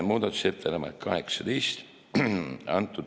Muudatusettepanek nr 18.